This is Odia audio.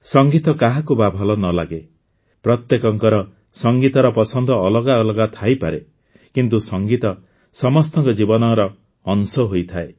ସଙ୍ଗୀତ କାହାକୁ ବା ଭଲ ନ ଲାଗେ ପ୍ରତ୍ୟେକଙ୍କର ସଙ୍ଗୀତର ପସନ୍ଦ ଅଲଗା ଅଲଗା ଥାଇପାରେ କିନ୍ତୁ ସଙ୍ଗୀତ ସମସ୍ତଙ୍କ ଜୀବନର ଅଂଶ ହୋଇଥାଏ